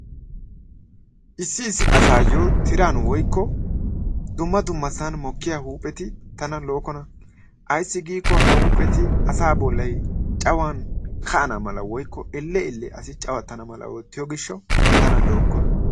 Issi issi asaayo tiran woykko dumma dummasan mokkiya huupheti tana lo'okkona. Ayissi giiko ha huupheti asaa bollay cawan ka'an amala woyikko elle elle asi cawattana mala oottiyo gishshawu tana lo'okkona.